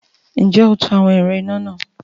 Ǹjẹ́ o to àwọn ẹ̀rọ iná náà?